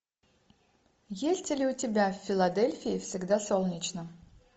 есть ли у тебя в филадельфии всегда солнечно